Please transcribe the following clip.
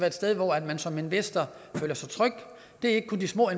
et sted hvor man som investor føler sig tryg det er ikke kun de små